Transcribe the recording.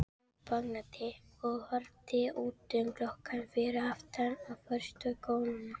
Hún þagnaði og horfði út um gluggann fyrir aftan forstöðukonuna.